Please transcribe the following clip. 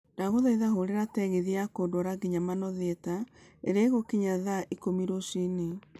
ndagũthaitha hũrira tegithi ya kũndwara nginya manor theater irĩa ĩgũkinya thaa ikũmi rũcinĩ